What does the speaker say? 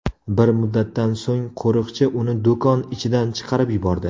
Bir muddatdan so‘ng qo‘riqchi uni do‘kon ichidan chiqarib yubordi.